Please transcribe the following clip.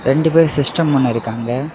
ரெண்டு பேரு சிஸ்டம் ஒன்னு இருக்கு அங்க.